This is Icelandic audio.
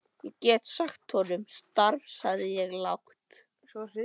Ég get ekki sagt honum upp starfi sagði ég lágt.